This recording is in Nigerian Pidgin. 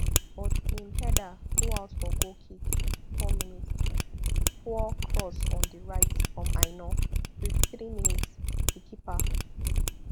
but im header go out for goal kick fifty-four minspoor cross on di right from aina fifty-three minsdi keeper